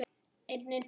Guð geymi þig og afa.